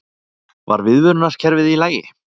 Var viðvörunarkerfið í lagi?